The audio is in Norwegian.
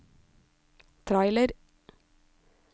trailer